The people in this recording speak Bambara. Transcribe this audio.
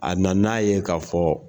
A na n'a ye ka fɔ